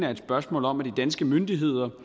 er et spørgsmål om at de danske myndigheder